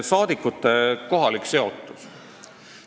Saadikute kohalik seotus.